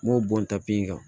N b'o bɔn ta pe in kan